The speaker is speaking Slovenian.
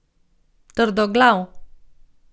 Trdoglav.